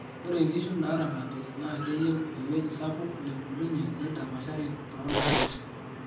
ore inkishu naaramati naa keiyieu ewoji sapuk nebulunyie neidapashari too indaat